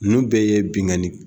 Nunnu bɛ ye